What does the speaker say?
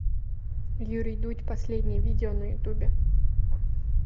юрий дудь последнее видео на ютубе